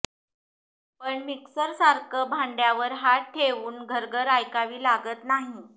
पण मिस्करसारखं भांड्यावर हात ठेवून घर्रघर्र ऐकावी लागत नाही